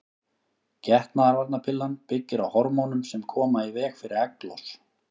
Getnaðarvarnarpillan byggir á hormónum sem koma í veg fyrir egglos.